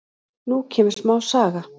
Nú kemur smá saga.